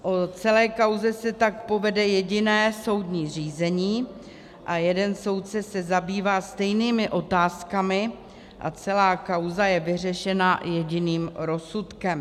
O celé kauze se tak povede jediné soudní řízení a jeden soudce se zabývá stejnými otázkami a celá kauza je vyřešena jediným rozsudkem.